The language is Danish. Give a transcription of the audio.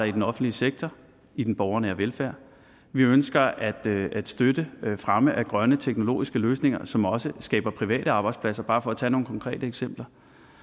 i den offentlige sektor i den borgernære velfærd og vi ønsker at støtte fremme af grønne teknologiske løsninger som også skaber private arbejdspladser bare for at tage nogle konkrete eksempler